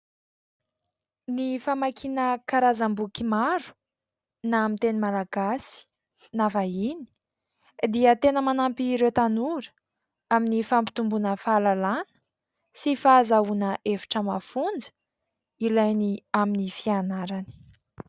Ny famakiana karazam-boky maro, na amin'ny teny Malagasy na vahiny dia tena manampy ireo tanora amin'ny fampitombona fahalalana sy fahazahoana hevitra mafonja ilainy amin'ny fianarany.